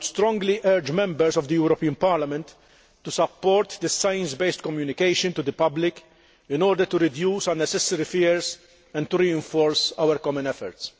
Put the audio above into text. I would strongly urge Members of the European Parliament to support this science based communication to the public, in order to reduce unnecessary fears and to reinforce our common efforts.